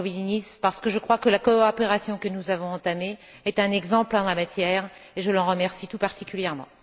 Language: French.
Lambridinis, parce que je crois que la coopération que nous avons entamée est un exemple en la matière, et je l'en remercie tout particulièrement.